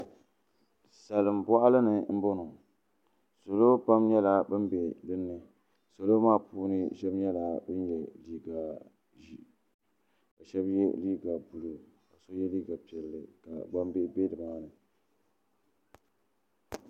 salinbɔɣili ni m-bɔŋɔ salo pam nyɛla ban be dini salo maa puuni shɛba nyɛla ban ye liiga ʒee ka shɛba ye liiga buluu ka ye liiga piɛlli ka ban be loori maa ni.